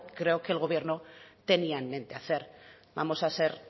que creo que el gobierno tenía en mente hacer vamos a ser